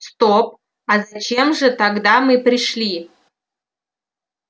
стоп а зачем же тогда мы пришли